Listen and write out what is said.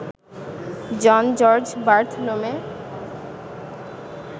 John George Bartholomew